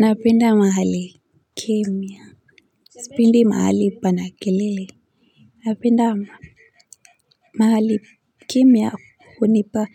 Napenda mahali kimya sipendi mahali pana kelele napenda mahali kimya hunipa